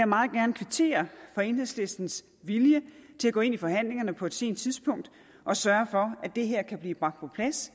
meget gerne kvittere for enhedslistens vilje til at gå ind i forhandlingerne på et sent tidspunkt og sørge for at det her kan blive bragt på plads